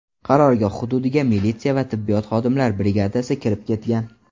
Qarorgoh hududiga militsiya va tibbiyot xodimlari brigadasi kirib ketgan.